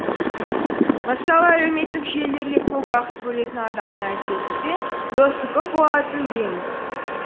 мысалы әлеуметтік желілерге көп уақыт бөлетін адамның әдетте досы көп болатынын білеміз